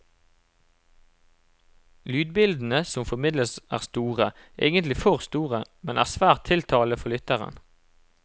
Lydbildene som formidles er store, egentlig for store, men er svært tiltalende for lytteren.